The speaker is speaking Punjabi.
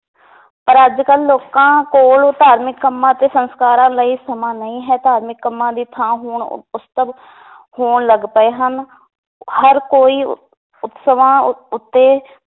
ਪਰ ਅੱਜ ਕਲ ਲੋਕਾਂ ਕੋਲ ਧਾਰਮਿਕ ਕੰਮਾਂ ਅਤੇ ਸੰਸਕਾਰਾਂ ਲਈ ਸਮਾਂ ਨਈ ਹੈ ਧਾਰਮਿਕ ਕੰਮਾਂ ਦੀ ਥਾਂ ਹੁਣ ਹੋਣ ਲੱਗ ਪਏ ਹਨ ਹਰ ਕੋਈ ਉਤਸਵਾਂ ਉ~ ਉੱਤੇ